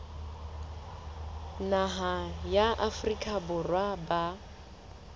naha ya afrika borwa ba